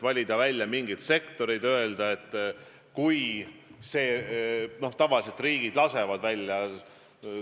Noh, tavaliselt riigid lasevad inimesi maalt välja.